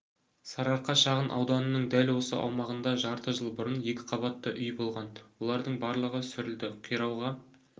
сарыарқа шағын ауданының дәл осы аумағында жарты жыл бұрын екіқабатты үй болған олардың барлығы сүрілді қирауға